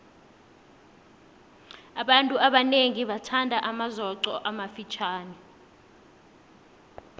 abantu abanengi bathanda amazoqo amafitjhani